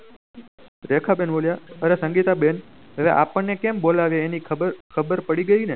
રેખા બેન બોલ્યા અરે સંગીતા બેન અરે આપણ ને કેમ બોલાવે એન ખબર પડી ગયી ને